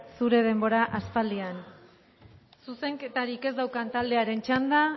zure denbora aspaldian zuzenketarik ez daukan taldearen txanda